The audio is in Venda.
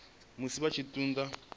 musi vha tshi ṱun ḓa